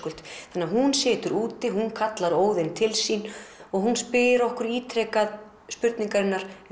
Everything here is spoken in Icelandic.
hún situr úti hún kallar Óðin til sín og spyr okkur ítrekað spurningarinnar